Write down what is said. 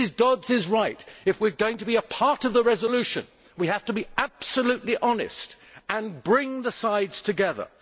Mrs Dodds is right if we are going to be a part of the resolution, we have to be absolutely honest and bring the sides together.